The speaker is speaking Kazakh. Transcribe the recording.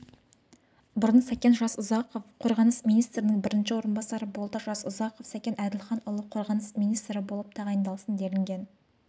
бұрын сәкен жасұзақов қорғаныс министрінің бірінші орынбасары болды жасұзақов сәкен әділханұлы қорғаныс министрі болып тағайындалсын делінген